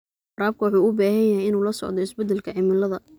Waraabka wuxuu u baahan yahay inuu la socdo isbeddelka cimilada.